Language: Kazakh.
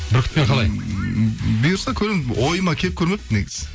бүркітпен қалай ммм бұйырса көремін ойыма келіп көрмепті негізі